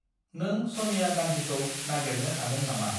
नों सनिया गान्धिखौ नागेरनो हागोन नामा?